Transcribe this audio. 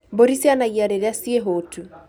Mbũri cianagia rĩrĩa ciĩ hũũtu